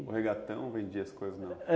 O regatão vendia as coisas nela?